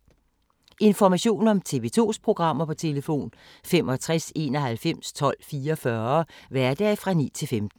Information om TV 2's programmer: 65 91 12 44, hverdage 9-15.